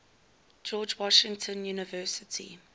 george washington university